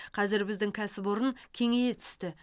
қазір біздің кәсіпорын кеңейе түсті